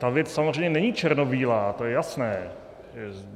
Ta věc samozřejmě není černobílá, to je jasné.